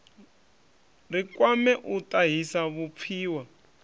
ri kwame u tahisa vhupfiwa